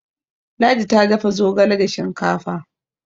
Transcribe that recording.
ladi ta dafa zogale da shinkafa